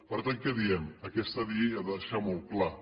per tant què diem aquesta llei ha de deixar molt clar